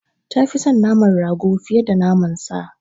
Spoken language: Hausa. Ta fi son naman rago fiye da naman sa.